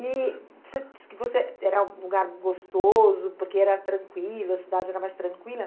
E você disse que você, era um lugar gostoso, porque era tranquilo, a cidade era mais tranquila.